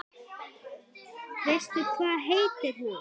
Veistu hvað heitir hún?